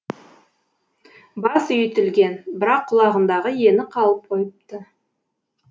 бас үйітілген бірақ құлағындағы ені қалып қойыпты